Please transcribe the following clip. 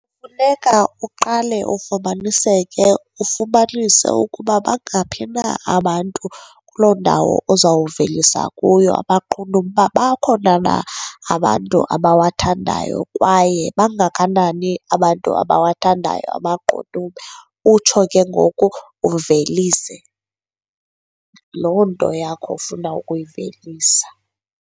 Funeka uqale ufumaniseke ufumanise ukuba bangaphi na abantu kuloo ndawo ozawuvelisa kuyo amaqunube, uba bakhona na abantu abawathandayo kwaye bangakanani abantu abawathandayo amaqunube, utsho ke ngoku uvelise loo nto yakho ufuna ukuyivelisa.